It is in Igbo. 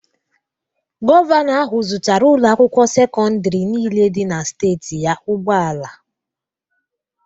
Govanọ ahu zụtara ụloakwụkwo secọndarị nille di na steetị ya ụgbọala.